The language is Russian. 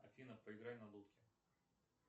афина поиграй на дудке